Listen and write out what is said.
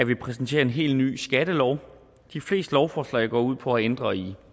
vi præsenterer en helt ny skattelov de fleste lovforslag går ud på at ændre i